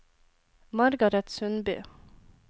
Margareth Sundby